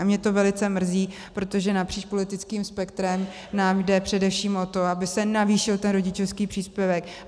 A mě to velice mrzí, protože napříč politickým spektrem nám jde především o to, aby se navýšil ten rodičovský příspěvek.